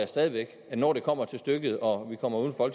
stadig væk at når det kommer til stykket og vi kommer uden for